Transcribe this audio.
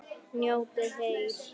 Njótið heil!